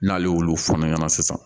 N'ale y'olu fɔ ne ɲɛna sisan